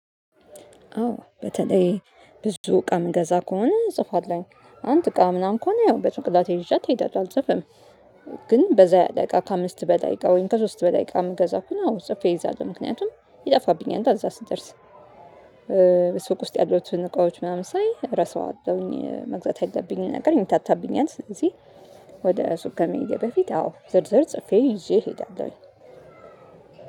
አዎ በተለይ ብዙ እቃ የምገዛ ከሆነ እጽፋለሁኝ አንድ እቃ ምናምን ከሆነ ያው በጭንቅላቴ ይዣት ሄዳለሁ አልጽፍም። ግን በዛያለ እቃ ከአምስት በላይ እቃ ወይም ከሶስት በላይ እቃ ምገዛ ከሆነ አዎ ጽፌ ይዛለሁ ምክንያቱም ይጠፋብኛላ እዛ ስደርስ ሱቅ ውስጥ ያሉትን እቃዎች ምናምን ሳይ እረሳዋለሁኝ መግዛት ያለብኝን ነገር ይምታታብኛል። ስለዚህ ወደ ሱቅ ከመሄዴ በፊት አዎ ዝርዝር ጽፌ ይዤ እየሄዳለሁ።